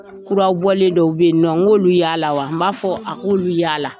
Kurabɔlen dɔw bɛ yen nɔ n k' olu yaala wa , n b'a fɔ a k'olu yaala.